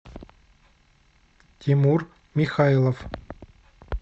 тимур михайлов